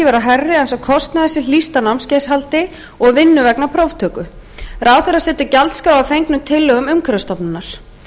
vera hærri en sá kostnaður sem hlýst af námskeiðshaldi og vinnu vegna próftöku ráðherra setur gjaldskrá að fengnum tillögum umhverfisstofnunar